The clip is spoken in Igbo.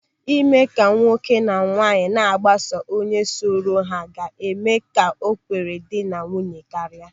Ịme ka nwoke na nwaanyị na-agbaso onye sọrọ ha ga-eme ka ekworo dị na nwunye karịa.